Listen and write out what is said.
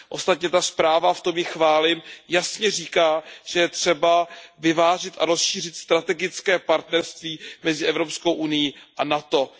Ostatně ta zpráva, v tom ji chválím, jasně říká, že je třeba vyvážit a rozšířit strategické partnerství mezi EU a NATO.